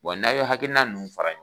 Wa n'a ye hakilina ninnu fara